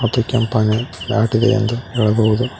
ಮತ್ತು ಕೆಂಪಾನೆ ದಾಟಿದೆ ಎಂದು ಹೇಳಬಹುದು.